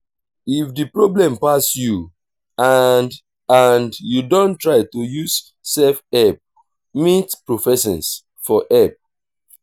if di problem pass you and and you don try to use self help meet professions for help